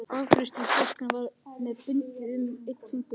Afgreiðslustúlkan var með bundið um einn fingurinn.